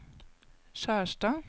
Skjerstad